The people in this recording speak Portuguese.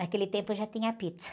Naquele tempo, eu já tinha pizza.